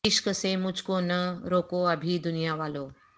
عشق سے مجھ کو نہ روکو ابھی دنیا والو